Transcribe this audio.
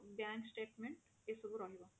bank statement ଏ ସବୁ ରହିବ